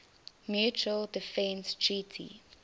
mutual defense treaty